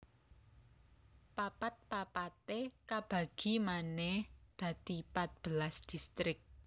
Papat papaté kabagi manè dadi pat belas distrik